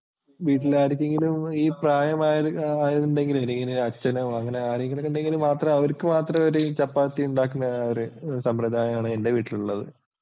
വീട്ടിലാർക്കെങ്കിലും ഈ പ്രായമായവരുണ്ടെങ്കിലേ ഇങ്ങനെ അച്ഛനോ അങ്ങനെ ആരെങ്കിലും ഉണ്ടെങ്കില് മാത്രം അവർക്കു മാത്രം ചപ്പാത്തി ഉണ്ടാക്കുന്ന സമ്പ്രദായമാണ് എൻ്റെ വീട്ടിലുള്ളത്.